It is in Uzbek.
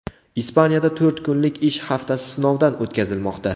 Ispaniyada to‘rt kunlik ish haftasi sinovdan o‘tkazilmoqda.